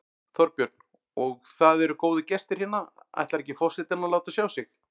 Þorbjörn: Og það eru góðir gestir hérna, ætlar ekki forsetinn að láta sjá sig?